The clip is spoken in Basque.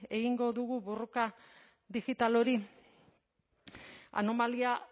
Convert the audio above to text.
egingo dugu borroka digital hori anomalia